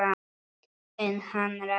En hann Raggi?